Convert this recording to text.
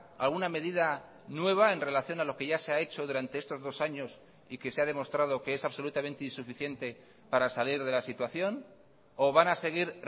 alguna medida nueva en relación a lo que ya se ha hecho durante estos dos años y que se ha demostrado que es absolutamente insuficiente para salir de la situación o van a seguir